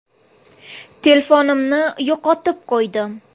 Telefonimni yo‘qotib qo‘ydim!.